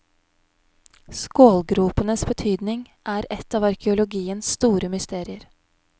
Skålgropenes betydning er et av arkeologiens store mysterier.